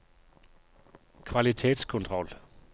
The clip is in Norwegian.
kvalitetskontroll